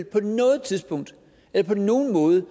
på noget tidspunkt eller på nogen måde